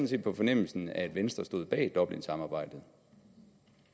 set på fornemmelsen at venstre stod bag dublinsamarbejdet